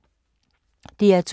DR2